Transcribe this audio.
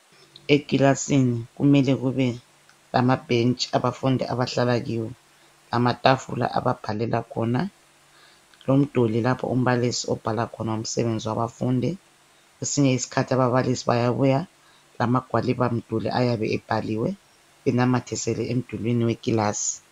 Eklasini kumele kube lamabhentshi abafundi abahlala kiwo, lamatafula ababhalela khona, lomduli lapho umbalisi obhala khona umsebenzi wabafundi kwesinye isikhathi ababalisi bayabuya lamagwalibamduli ayabe ebhaliwe enamathisele emdulwini weclass.